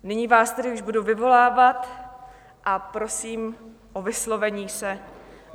Nyní vás tedy již budu vyvolávat a prosím o vyslovení se.